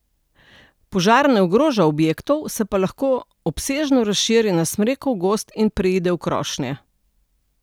Požar ne ogroža objektov, se pa lahko obsežno razširi na smrekov gozd in preide v krošnje.